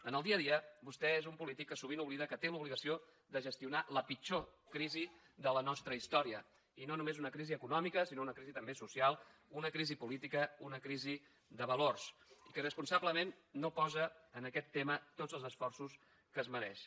en el dia a dia vostè és un polític que sovint oblida que té l’obligació de gestionar la pitjor crisi de la nostra història i no només una crisi econòmica sinó una crisi també social una crisi política una crisi de valors i que irresponsablement no posa en aquest tema tots els esforços que es mereixen